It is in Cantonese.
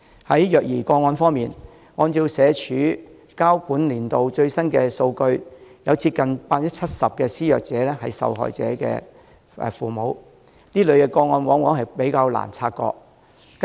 在虐兒個案方面，按照社署提交的本年度最新數據，有接近 70% 的施虐者為受害人的父母，而這類個案往往比較難察覺。